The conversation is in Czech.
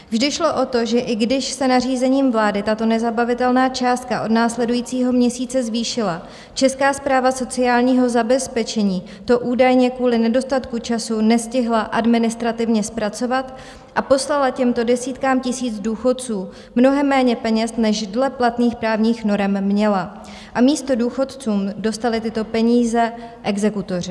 Vždy šlo o to, že i když se nařízením vlády tato nezabavitelná částka od následujícího měsíce zvýšila, Česká správa sociálního zabezpečení to údajně kvůli nedostatku času nestihla administrativně zpracovat a poslala těmto desítkám tisíc důchodců mnohem méně peněz, než dle platných právních norem měla, a místo důchodců dostali tyto peníze exekutoři.